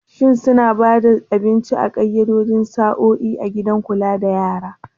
Shin suna ba da abinci a ƙayyadaddun sa'o'i a gidan kulawa da yara?